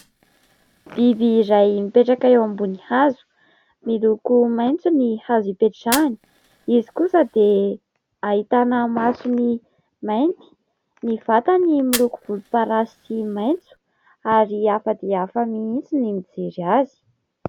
Biby iray mipetraka eo ambony hazo: miloko maitso ny hazo ipetrahany; izy kosa dia ahitana masony mainty, ny vatany miloko volom-parasy sy maitso, ary hafa dia hafa mihitsy ny mijery azy.